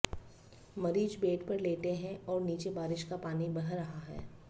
मरीज बेड पर लेटे हैं और नीचे बारिश का पानी बह रहा है